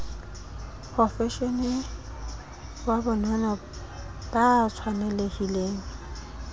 profeshenale wa bonono ba tshwanelhileng